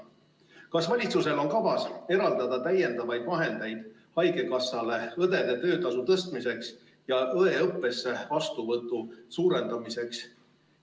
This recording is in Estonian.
Kas valitsusel on kavas eraldada täiendavaid vahendeid haigekassale õdede töötasu tõstmiseks ja õeõppesse vastuvõtu suurendamiseks?